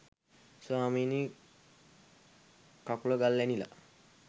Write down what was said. ස්වාමීනි කකුල ගල් ඇනිලා